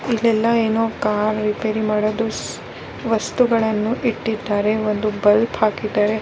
ಇಲ್ಲ ಎಲ್ಲ ಏನೋ ಕಾರ್ ರಿಪೈರಿ ಮಾಡುವುದು ವಸ್ತುಗಳನ್ನ ಇಟ್ಟಿದ್ದಾರೆ ಒಂದು ಬುಲ್ಪ್ ಹಾಕಿದ್ದಾರೆ .